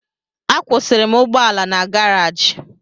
Akwụsịrị m ụgbọala na garaji